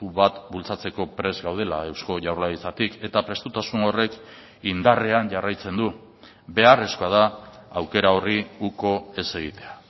bat bultzatzeko prest gaudela eusko jaurlaritzatik eta prestutasun horrek indarrean jarraitzen du beharrezkoa da aukera horri uko ez egitea